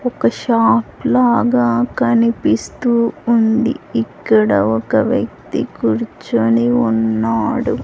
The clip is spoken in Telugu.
ఒక షాప్ లాగా కనిపిస్తూ ఉంది ఇక్కడ ఒక వ్యక్తి కూర్చుని ఉన్నాడు.